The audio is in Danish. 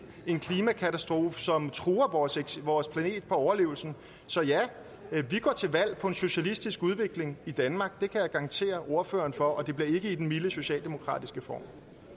en klimakatastrofe som truer vores vores planets overlevelse så ja vi går til valg på en socialistisk udvikling i danmark det kan jeg garantere ordføreren for og det bliver ikke i den milde socialdemokratiske form